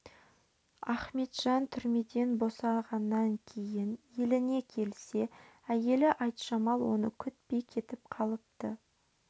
ахметжан түрмеден босағаннан кейін еліне келсе әйелі айтжамал оны күтпей кетіп қалыпты